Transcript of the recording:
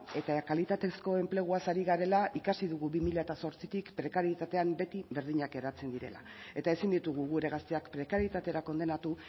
eta kalitatezko enpleguaz ari garela ikasi dugu bi mila zortzitik prekarietatean beti berdinak geratzen direla eta ezin ditugu gure gazteak prekarietatera kondenatu